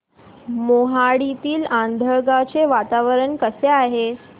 मोहाडीतील आंधळगाव चे वातावरण कसे आहे